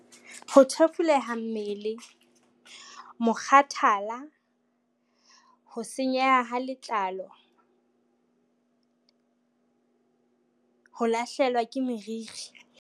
Ho thefuleha mmele, mokgathala, ho senyeha ha letlalo, ho lahlehelwa ke meriri.